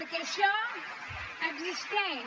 perquè això existeix